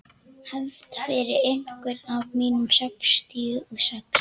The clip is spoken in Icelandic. Hefnd fyrir einhvern af mínum sextíu og sex.